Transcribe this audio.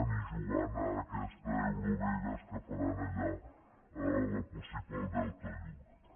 ni jugant a aquesta eurovegas que faran allà possible al delta del llobregat